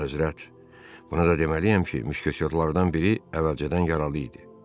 Əlahəzrət, bunu da deməliyəm ki, müşketorlardan biri əvvəlcədən yaralı idi.